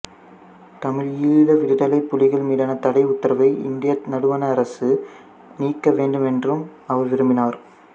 தமிழீழ விடுதலைப் புலிகள் மீதான தடை உத்தரவை இந்திய நடுவண் அரசு நீக்க வேண்டும் என்றும் அவர் விரும்பினார்